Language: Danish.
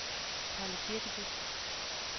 Palle Kirkeby